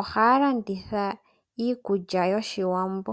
Ohaya landitha iikulya yOshiwambo.